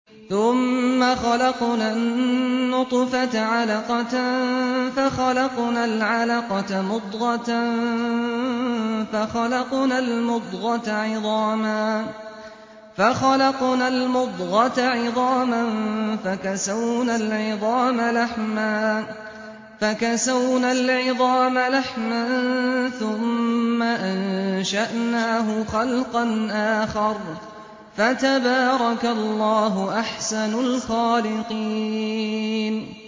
ثُمَّ خَلَقْنَا النُّطْفَةَ عَلَقَةً فَخَلَقْنَا الْعَلَقَةَ مُضْغَةً فَخَلَقْنَا الْمُضْغَةَ عِظَامًا فَكَسَوْنَا الْعِظَامَ لَحْمًا ثُمَّ أَنشَأْنَاهُ خَلْقًا آخَرَ ۚ فَتَبَارَكَ اللَّهُ أَحْسَنُ الْخَالِقِينَ